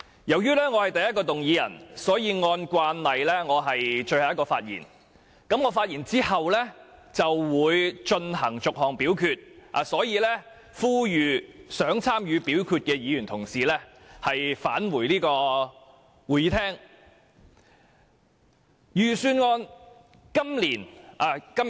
由於我動議的修正案排在首位，按照慣例，我是最後一位發言，等待我發言完畢，便會就每項修正案逐項表決，因此我呼籲想參與表決的議員返回會議廳。